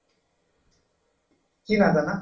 কি নাজানা